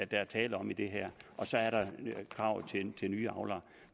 der er tale om i det her og så er der kravet til nye avlere